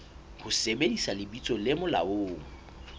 ho sebedisa lebitso le molaong